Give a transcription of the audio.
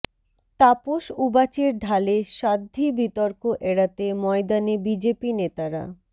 তাপস উবাচের ঢালে স্বাধ্বী বিতর্ক এড়াতে ময়দানে বিজেপি নেতারা